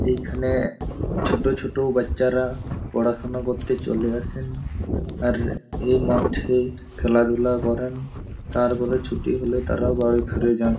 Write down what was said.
এইখানে ছোট ছোট বাচ্চারা পড়াশুনো করতে চলে আসেন আর এই মাঠেই খেলাধুলা করেন। তারপর ছুটি হলে তারাও বাড়ি ফিরে যান।